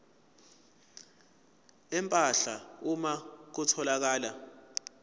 empahla uma kutholakala